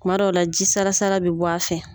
Kuma dɔw' la ji salasala bɛ bɔ a fɛ.